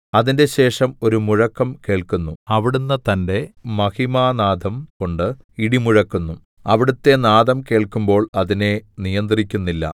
അതിന്റശേഷം ഒരു മുഴക്കം കേൾക്കുന്നു അവിടുന്ന് തന്റെ മഹിമാനാദംകൊണ്ട് ഇടിമുഴക്കുന്നു അവിടുത്തെ നാദം കേൾക്കുമ്പോൾ അതിനെ നിയന്ത്രിക്കുന്നില്ല